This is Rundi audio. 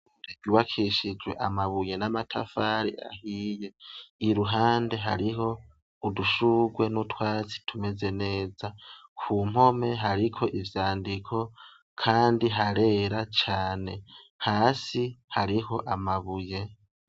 Ryubakishijwe amabuye n'amatafari ahiye, iruhandi hariho udushugwe nutwatsi tumeze neza kumpome hariko ivyandiko kandi harera cane hasi hariho amabuye.